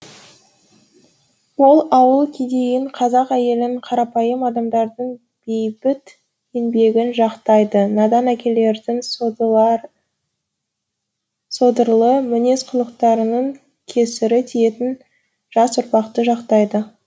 ол ауыл кедейін қазақ әйелін қарапайым адамдардың бейбіт еңбегін жақтайды надан әкелердін содырлы мінез кұлыктарының кесірі тиетін жас ұрпақты жактайды